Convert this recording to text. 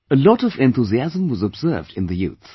A lot of enthusiasm was observed in the youth